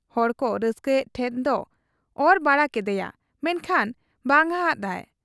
ᱦᱚᱲᱠᱚ ᱨᱟᱹᱥᱠᱟᱹᱭᱮᱫ ᱴᱷᱮᱫ ᱠᱚ ᱚᱨ ᱵᱟᱲᱟ ᱠᱮᱫᱮᱭᱟ ᱾ ᱢᱮᱱᱠᱷᱟᱱ ᱵᱟᱝᱟᱫ ᱟᱭ ᱾